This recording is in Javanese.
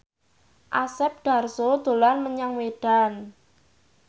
Asep Darso dolan menyang Medan